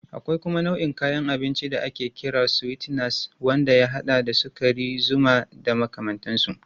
Akwai kuma nau'in kayan abinci da ake kira sweeteners wanda ya haɗa da sukari, zuma da makamantansu.